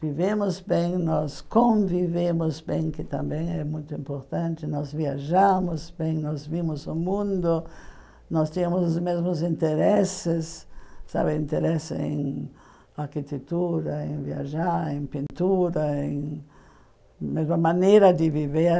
Vivemos bem, nós convivemos bem, que também é muito importante, nós viajamos bem, nós vimos o mundo, nós temos os mesmos interesses, sabe, interesse em arquitetura, em viajar, em pintura, em mesma maneira de viver.